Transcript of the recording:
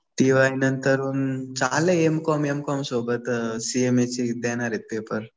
T Y नंतर चालू आहे एम कॉम. एम कॉम सोबत सी एम ए चे देणार आहे पेपर.